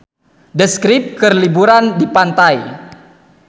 The Script keur liburan di pantai